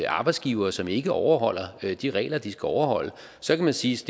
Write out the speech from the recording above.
arbejdsgivere som ikke overholder de regler de skal overholde så kan man sige